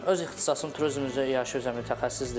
Öz ixtisasım turizm üzrə yaxşı üzrə mütəxəssisdir.